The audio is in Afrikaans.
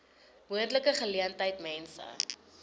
moontlike geleentheid mense